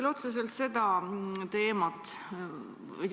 Hea minister!